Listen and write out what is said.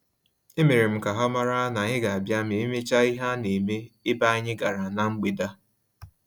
E merem ka ha mara na-anyị ga abia ma emecha ihe a-na eme ebe anyị gara na mgbede a